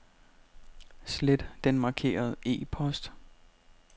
Slet den markerede e-post.